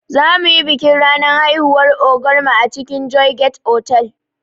Zamuyi bikin ranar haihuwar ogar mu a cikin joygate otal